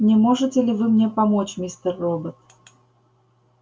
не можете ли вы мне помочь мистер робот